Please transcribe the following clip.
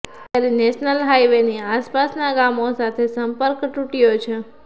ત્યારે નેશનલ હાઇવેની આસપાસના ગામો સાથે સંપર્ક તૂટ્યો છે